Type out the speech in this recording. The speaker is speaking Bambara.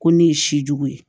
Ko ne ye si jugu ye